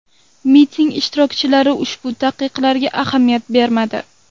Miting ishtirokchilari ushbu taqiqlarga ahamiyat bermadi.